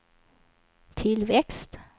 tillväxt